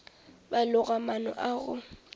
ba loga maano a go